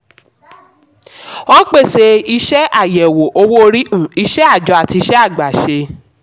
wón pèsè iṣẹ́ àyẹ̀wò owó orí um iṣẹ́ àjọ àti iṣẹ́ àgbàṣe.